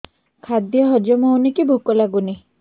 ଖାଦ୍ୟ ହଜମ ହଉନି କି ଭୋକ ଲାଗୁନି